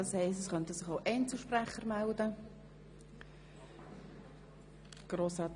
Das heisst, es könnten sich auch Einzelsprecher melden.